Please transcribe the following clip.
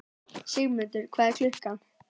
Sigurmundur, hvað er klukkan?